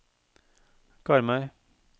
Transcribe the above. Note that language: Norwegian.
Karmøy